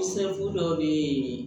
dɔw bɛ yen